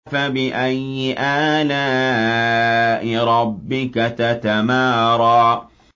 فَبِأَيِّ آلَاءِ رَبِّكَ تَتَمَارَىٰ